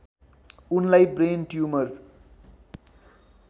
उनलाई brain tumour